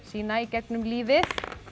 sína í gegnum lífið